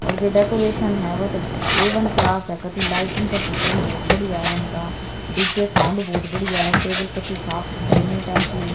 और जो डेकोरेशन वो तो ए वन क्लास है कती लाइटिंग का सिस्टम बढ़िया है इनका डी_जे साउंड बहुत बढ़िया है टेबल कतई साफ सुथरे नीट एंड क्लीन ।